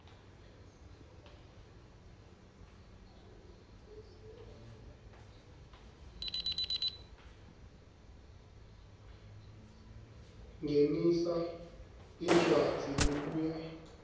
ngenisa incwadzi lebuya